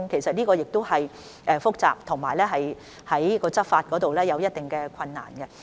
這個問題是複雜的，在執法上亦有一定困難。